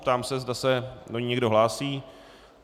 Ptám se, zda se do ní někdo hlásí.